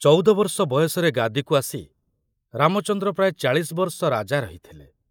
ଚଉଦ ବର୍ଷ ବୟସରେ ଗାଦିକୁ ଆସି ରାମଚନ୍ଦ୍ର ପ୍ରାୟ ଚାଳିଶ ବର୍ଷ ରାଜା ରହିଥିଲେ।